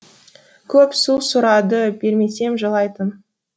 көп су сұрады бермесем жылайтын